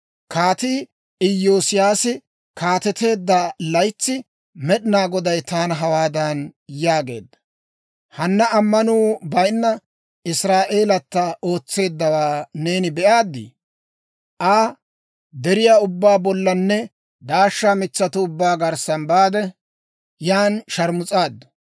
Kaatii Iyoosiyaasi kaateteedda laytsi, Med'inaa Goday taana hawaadan yaageedda; «Hanna ammanuu bayinna Israa'eelata ootseeddawaa neeni be'aaddi? Aa deriyaa ubbaa bollanne daashsha mitsatuu ubbaa garssa baade, yan sharmus'aaddu.